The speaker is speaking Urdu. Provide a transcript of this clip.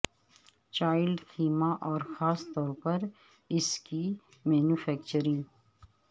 چائلڈ خیمہ اور خاص طور پر اس کی مینوفیکچرنگ